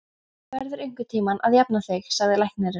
Þú verður einhvern tíma að jafna þig, sagði læknirinn.